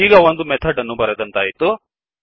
ಈಗ ಒಂದು ಮೆಥಡ್ ಅನ್ನು ಬರೆದಂತಾಯಿತು